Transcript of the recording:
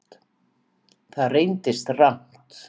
Það reyndist rangt